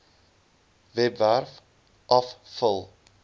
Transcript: webwerf af vul